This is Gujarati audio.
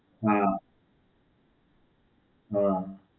હાં, હાં.